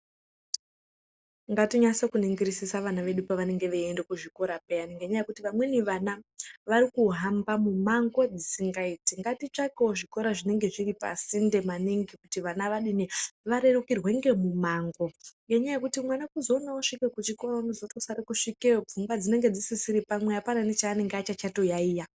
Ngatinyase kuningirisisa vana vedu pavanenge veiende kuzvikora puyani ngekuti vamweni vana vari kuhamba mumwango dzisingaiti .Ngatitsvakewo zvikora zvinenge zviri pasinde maningi kuti vana vadini varerukirwe ngemumwango ngenyaya yekuti mwana kuzoona osvike kuchikora unozotosare kusvikeyo pfungwa dzinenge dzisisiri pamwe apana nechaanenge achachotoyaiya.